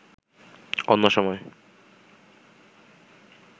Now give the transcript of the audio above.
অন্য সময়